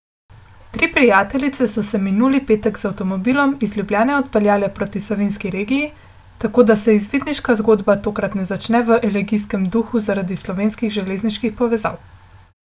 Tri prijateljice so se minuli petek z avtomobilom iz Ljubljane odpeljale proti savinjski regiji, tako da se izvidniška zgodba tokrat ne začne v elegijskem duhu zaradi slovenskih železniških povezav.